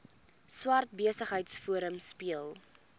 swart besigheidsforum speel